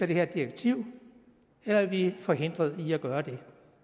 her direktiv eller er vi forhindret i at gøre det